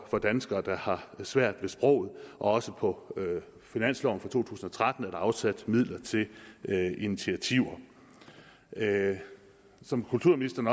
danskere der har svært ved sproget og også på finansloven for to tusind og tretten er der afsat midler til initiativer som kulturministeren